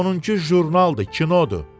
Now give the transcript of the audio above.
Onun ki jurnaldı, kinodu.